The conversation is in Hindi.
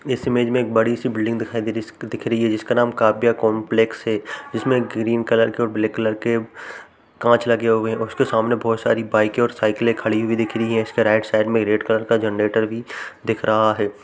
इस इमेज में एक बड़ी सी बिल्डिंग दिखाई दे रही इस क् दिख रही है जिसका नाम काव्या कंपलेक्स है जिसमें एक ग्रीन कलर के और ब्लैक कलर के कांच लगे हुए हैं। उसके सामने बहोत सारी बाइके और साइकिले खड़ी हुई दिख रहीं हैं। इसके राइट साइड में एक रेड कलर का जनरेटर भी दिख रहा है।